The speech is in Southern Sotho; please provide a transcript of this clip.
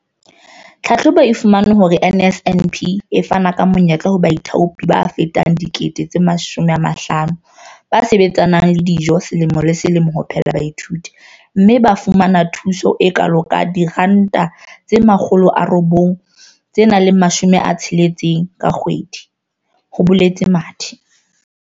"Tlhahlobo e fumane hore NSNP e fana ka menyetla ho baithaopi ba fetang 50 000 ba sebetsanang le dijo selemo le selemo ho phehela baithuti, mme ba fumana thuso e kalo ka R960 ka kgwedi," ho boletse Mathe.